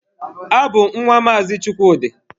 Abụ m nwa Maazị Chukwudi.